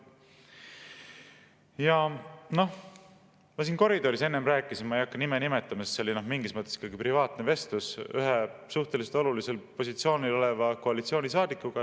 Ja noh, ma siin koridoris enne rääkisin, ma ei hakka nime nimetama, sest see oli mingis mõttes privaatne vestlus, ühe suhteliselt olulisel positsioonil oleva koalitsioonisaadikuga.